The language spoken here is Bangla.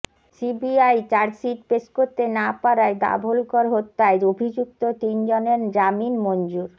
সিবিআই চার্জশিট পেশ করতে না পারায় দাভোলকর হত্যায় অভিযুক্ত তিন জনের জামিন মঞ্জুর